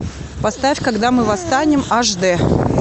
поставь когда мы восстанем аш д